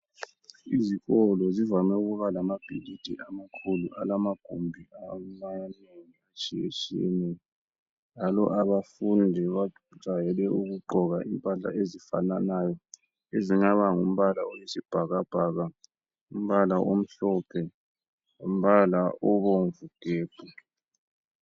Izikolo zivame ukuba lamabhilidi amakhulu lamagumbi amanengi atshiyetshiyeneyo. Njalo abafundi bajayele ukugqoka impahla ezifananayo ezingaba ngumbala oyisibhakabhaka, umbala omhlophe, umbala obomvu gebhu.